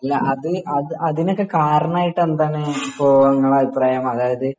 അല്ല അത് അത് അതിനൊക്കെ കാരണമായിട്ട് എന്താണ് ഇപ്പോ ഇങ്ങൾടെ അഭിപ്രായം അതായത്